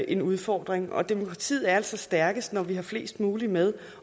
en udfordring og demokratiet er altså stærkest når vi har flest mulige med